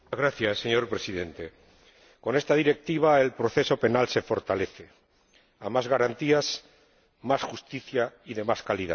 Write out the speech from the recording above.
Señor Presidente, con esta Directiva el proceso penal se fortalece a más garantías, más justicia y de más calidad.